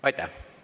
Aitäh!